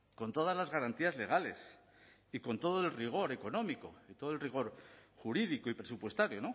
con todas las garantías legales y con todo el rigor económico y todo el rigor jurídico y presupuestario